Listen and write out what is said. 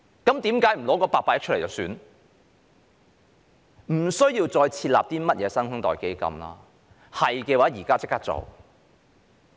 根本不需要再設立甚麼"新生代基金"，要做現在便可立即做到。